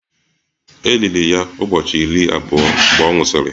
E liri ya ụbọchị iri abụọ mgbe ọ nwụsịrị